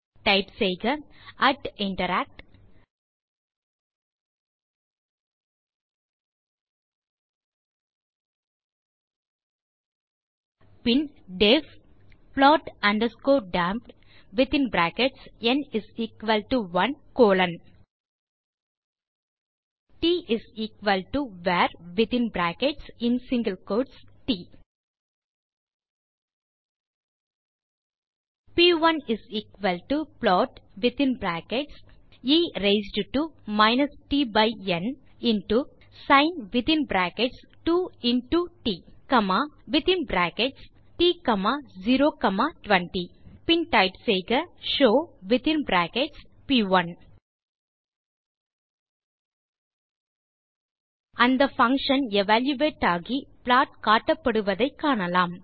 type செய்க interact பின் def plot damped tvarட் p1plot ஒஃப் வித்தின் bracketsஎ ரெய்ஸ்ட் to tந் sin2ட்ட்020 பின் டைப் செய்க ஷோவ் அந்த பங்ஷன் எவல்யூயேட் ஆகி ப்ளாட் காட்டப்படுவதை காணலாம்